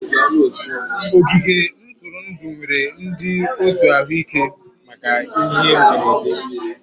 Ogige ntụrụndụ nwere ndị otu ahụike maka ihe mberede